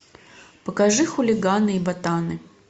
покажи хулиганы и ботаны